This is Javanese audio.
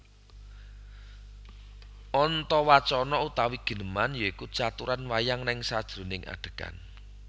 Antawacana utawi gineman ya iku caturan wayang neng sajeroning adhegan